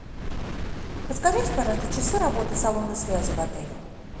подскажите пожалуйста часы работы салона связи в отеле